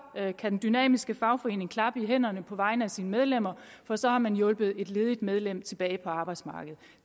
kan den dynamiske fagforening klappe i hænderne på vegne af sine medlemmer for så har man hjulpet et ledigt medlem tilbage på arbejdsmarkedet